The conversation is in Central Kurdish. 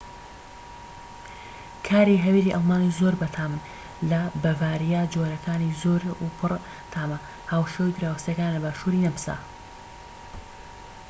کاری هەویری ئەڵمانی زۆر بەتامن لە بەڤاریا جۆرەکانی زۆر و پڕتامە هاوشێوەی دراوسێکەیان لە باشور نەمسا